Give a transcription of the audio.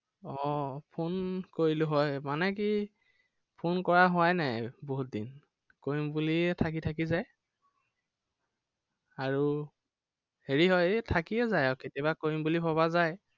আহ phone কৰিলো হয়, মানে কি phone কৰা হোৱাই নাই বহুত দিন। কৰিম বুলিয়ে থাকি থাকি যায়। আৰু, হেৰি হয়, এৰ থাকিয়ে যায় আৰু। কেতিয়াবা কৰিম বুলি ভবা যায়।